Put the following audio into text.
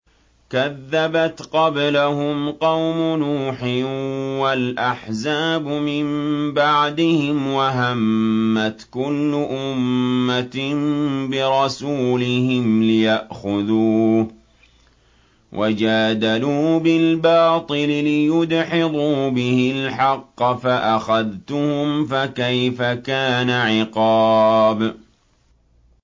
كَذَّبَتْ قَبْلَهُمْ قَوْمُ نُوحٍ وَالْأَحْزَابُ مِن بَعْدِهِمْ ۖ وَهَمَّتْ كُلُّ أُمَّةٍ بِرَسُولِهِمْ لِيَأْخُذُوهُ ۖ وَجَادَلُوا بِالْبَاطِلِ لِيُدْحِضُوا بِهِ الْحَقَّ فَأَخَذْتُهُمْ ۖ فَكَيْفَ كَانَ عِقَابِ